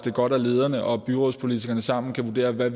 er godt at lederne og byrådspolitikerne sammen kan vurdere hvad